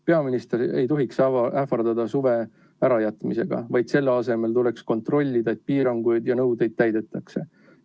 Peaminister ei tohiks ähvardada suve ärajätmisega, vaid selle asemel tuleks kontrollida, et piiranguid ja nõudeid täidetakse.